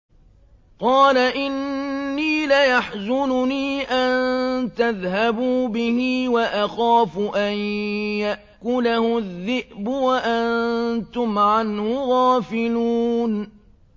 قَالَ إِنِّي لَيَحْزُنُنِي أَن تَذْهَبُوا بِهِ وَأَخَافُ أَن يَأْكُلَهُ الذِّئْبُ وَأَنتُمْ عَنْهُ غَافِلُونَ